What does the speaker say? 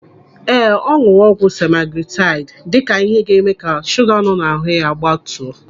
Ee, ọ nụrụ ọgwụ semaglutaid dịka ihe ga-eme ka shuga nọ ya n'ahụ gbatuo.